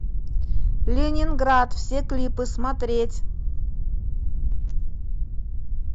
ленинград все клипы смотреть